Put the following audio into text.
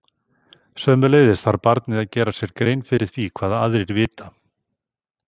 Sömuleiðis þarf barnið að gera sér grein fyrir því hvað aðrir vita.